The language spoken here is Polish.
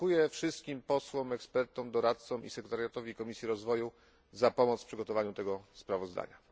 Dziękuję wszystkim posłom, ekspertom, doradcom i sekretariatowi Komisji Rozwoju za pomoc w przygotowaniu tego sprawozdania.